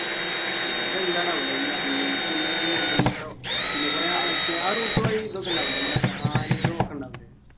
ആഹ് അതെന്താണാവോലെ ഈ animals ൻ്റെയു ഈ മൃഗങ്ങളോ പിന്നെ കുറെ ആ മറ്റേ ആ route വഴി ഇതൊക്കെ ഉണ്ടാവൂലെ നമ്മളെ ആനകളും ഒക്കെ ഉണ്ടാവൂലെ